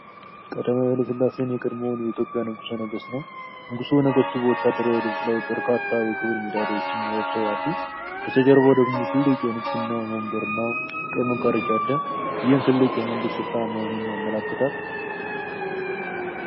ቀዳማዊ ኃይለ ሥላሴን፣ የቀድሞውን የኢትዮጵያ ንጉሠ ነገሥት ነው። ንጉሠ ነገሥቱ በወታደራዊ ልብስ ላይ በርካታ የክብር ሜዳሊያዎችን ለብሰው አሉ። በስተጀርባው ደግሞ ትልቅ የንግሥና ወንበር እና ቀይ መጋረጃ አለ፤ ይህም ትልቅ የመንግሥት ስፍራ መሆኑን ያመለክታል።